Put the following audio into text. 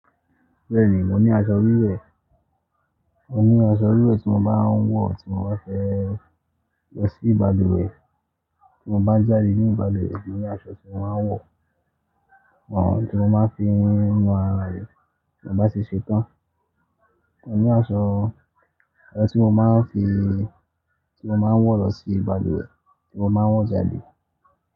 Bẹ́ẹ̀ni, mo ní aṣọ wíwẹ̀. Mo ní aṣọ wíwẹ̀ tí mo bá ń wọ̀, tí mo bá fẹ́ lọ sí ìbaluwe, tí mo bá ń jáde ní ìbaluwe, mo ní aṣọ tí mo máa ń wọ̀, tí mo máa ń fi ń nu ara mi tí mo bá ṣe ṣetán. Mo ní aṣọ, aṣọ tí mo máa ń fi, tí mo máa ń wọ̀ lọ sí ìbaluwe, tí mo máa ń wọ̀ jáde.